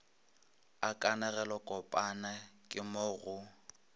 a kanegelokopana ke mo go